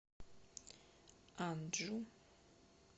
анджу